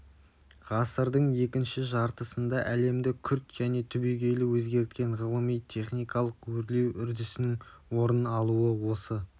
ғасырдың екінші жартысында әлемді күрт және түбегейлі өзгерткен ғылыми-техникалық өрлеу үрдісінің орын алуы осы